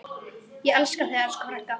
Ég elska þig, elsku frænka.